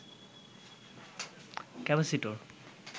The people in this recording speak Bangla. ক্যাপাসিটর